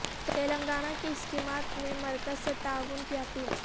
تلنگانہ کی اسکیمات میں مرکز سے تعاون کی اپیل